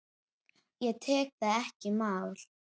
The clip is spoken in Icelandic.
Ég tek það ekki í mál!